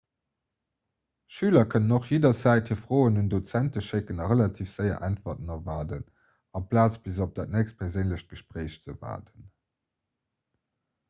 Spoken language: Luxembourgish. schüler kënnen och jidderzäit hir froen un dozenten schécken a relativ séier äntwerten erwaarden amplaz bis op dat nächst perséinlecht gespréich ze waarden